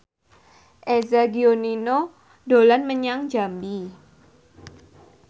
Eza Gionino dolan menyang Jambi